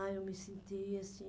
Ah, eu me senti assim...